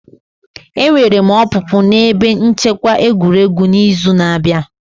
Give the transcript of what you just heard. Enwere m opupu na ebe nchekwa egwuregwu n'izu na-abịa.